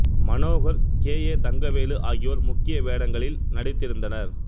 Manohar K A Thangavelu ஆகியோர் முக்கிய வேடங்களில் நடித்திருந்தனர்